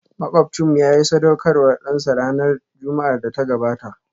Makwabcinmu yayi sadaukarwar dansa ranar Juma'ar da ta gabata